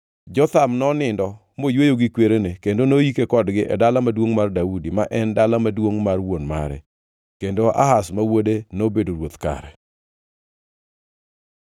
Jotham nonindo moyweyo gi kwerene kendo noyike kodgi e Dala Maduongʼ mar Daudi, ma en dala maduongʼ mar wuon mare. Kendo Ahaz ma wuode nobedo ruoth kare.